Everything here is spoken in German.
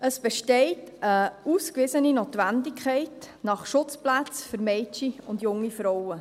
Es besteht eine ausgewiesene Notwendigkeit nach Schutzplätzen für Mädchen und junge Frauen.